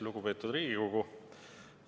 Lugupeetud Riigikogu!